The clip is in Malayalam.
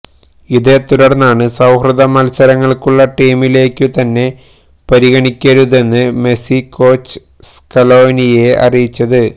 ഇതേ തുടര്ന്നാണ് സൌഹൃദ മല്സരങ്ങള്ക്കുള്ള ടീമിലേക്കു തന്നെ പരിഗണിക്കരുതെന്ന് മെസ്സി കോച്ച് സ്കലോനിയെ അറിയിച്ചത്